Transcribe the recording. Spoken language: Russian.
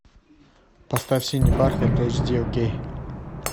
поставь синий бархат эйч ди окей